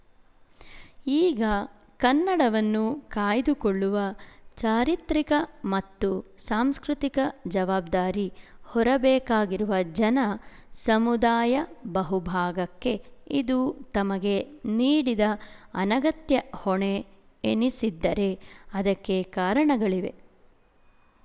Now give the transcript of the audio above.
ಈಗ ಕನ್ನಡವನ್ನು ಕಾಯ್ದುಕೊಳ್ಳುವ ಚಾರಿತ್ರಿಕ ಮತ್ತು ಸಾಂಸ್ಕೃತಿಕ ಜವಾಬ್ದಾರಿ ಹೊರಬೇಕಾಗಿರುವ ಜನ ಸಮುದಾಯ ಬಹುಭಾಗಕ್ಕೆ ಇದು ತಮಗೆ ನೀಡಿದ ಅನಗತ್ಯ ಹೊಣೆ ಎನ್ನಿಸಿದ್ದರೆ ಅದಕ್ಕೆ ಕಾರಣಗಳಿವೆ